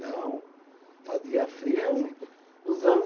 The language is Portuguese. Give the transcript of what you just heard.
Não, fazia frio nos anos